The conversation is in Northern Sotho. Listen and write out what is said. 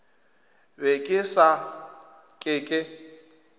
be ke sa ke ke